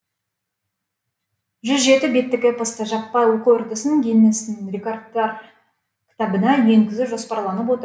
жүз жеті беттік эпосты жаппай оқу үрдісін гиннестің рекордтар кітабына енгізу жоспарланып отыр